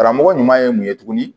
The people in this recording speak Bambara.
Karamɔgɔ ɲuman ye mun ye tuguni